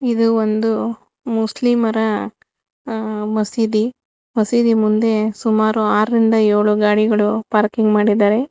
ಇದು ಒಂದು ಮುಸ್ಲಿಮರ ಮಸೀದಿ ಮಸೀದಿ ಮುಂದೆ ಸುಮಾರು ಆರರಿಂದ ರಿಂದ ಏಳು ಗಾಡಿಗಳು ಪಾರ್ಕಿಂಗ್ ಮಾಡಿದ್ದಾರೆ.